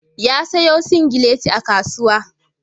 Ya sayo singileti a kasuwa.